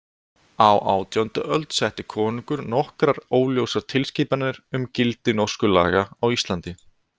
Á átjándu öld setti konungur nokkrar óljósar tilskipanir um gildi Norsku laga á Íslandi.